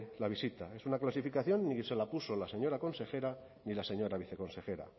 la visita es una clasificación y ni se la puso la señora consejera ni la señora viceconsejera